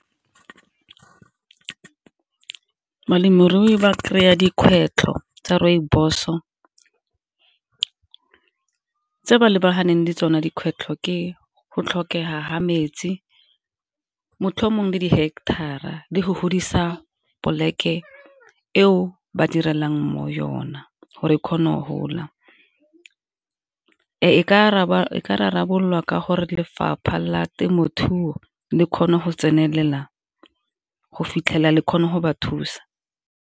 Balemirui ba kry-a dikgwetlho tsa rooibos-o, tse ba lebaganeng le tsone dikgwetlho ke go tlhokega ga metsi motlhomongwe le di heketara le go godisa plek-e eo ba direlang mo yona gore e kgone go gola. E ka rarabololwa ka gore lefapha la temothuo le kgone go tsenelela go fitlhela le kgone go ba thusa.